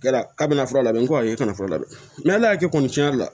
Kɛra kabina fura labɛn n ko awɔ e kana furu la dɛ ala y'a kɛ kɔni cɛn yɛrɛ la